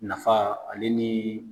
Nafa ale ni